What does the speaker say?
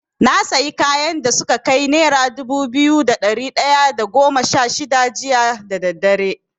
Na sayi kayan da suka kai nera dubu biyu da ɗari ɗaya da goma sha shida jiya da daddare.